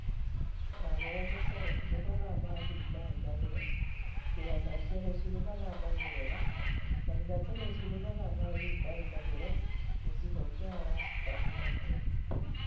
Thaa mũgwaja cia ũtukũ mathaa ma Abirika ya irathiro (thinacara cia rũcinĩ mathaa ma Ngeretha - Thaa ithatũ rũcini mathaa ma Abirika ya irathiro) Gĩchigo kia Alaska (Ithatu).